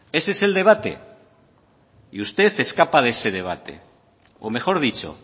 ese es el debate y usted escapa de ese debate o mejor dicho